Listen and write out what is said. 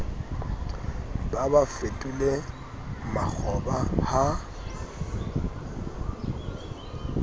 ba ba fetole makgoba ha